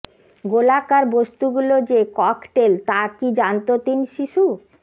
গোলাকার বস্তুগুলো যে ককটেল তা কি জানত তিন শিশু